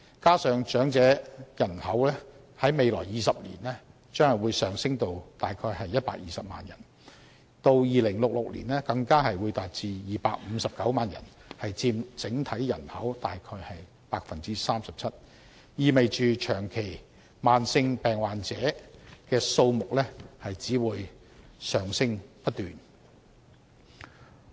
此外，長者人口在未來20年將上升至約120萬人，至2066年更會達259萬人，佔整體人口約 37%， 意味着長期慢性病患者的數目只會不斷上升。